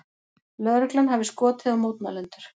Lögreglan hafi skotið á mótmælendur